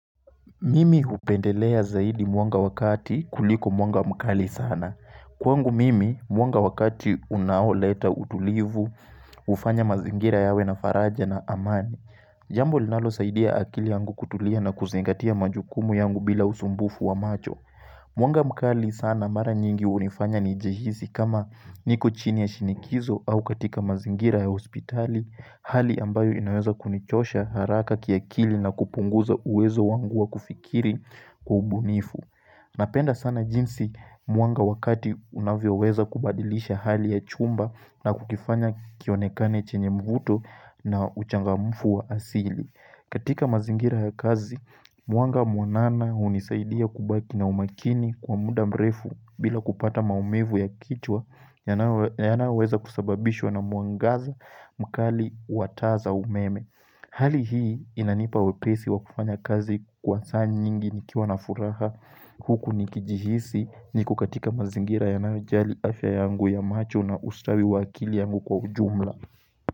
Mimi hupendelea zaidi mwanga wakati kuliko mwanga mkali sana. Kwangu mimi mwanga wa kati unaoleta utulivu, hufanya mazingira yawe na faraja na amani. Jambo linalo saidia akili yangu kutulia na kuzingatia majukumu yangu bila usumbufu wa macho. Mwanga mkali sana mara nyingi hunifanya nijihisi kama niko chini ya shinikizo au katika mazingira ya hospitali, Hali ambayo inaweza kunichosha haraka kiakili na kupunguza uwezo wangu wa kufikiri kubunifu Napenda sana jinsi mwanga wa kati unavyo weza kubadilisha hali ya chumba na kukifanya kionekane chenye mvuto na uchangamfu wa asili katika mazingira ya kazi, mwanga mwanana hunisaidia kubaki na umakini kwa muda mrefu bila kupata maumivu ya kichwa yanao yanayo weza kusababishwa na mwangaza mkali wa taa za umeme Hali hii inanipa wepesi wa kufanya kazi kwa saa nyingi ni kiwa na furaha Huku nikijihisi niko katika mazingira yanayo jali afya yangu ya macho na ustawi wakili yangu kwa ujumla.